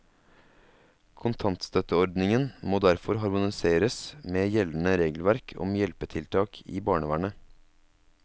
Kontantstøtteordningen må derfor harmoniseres med gjeldende regelverk om hjelpetiltak i barnevernet.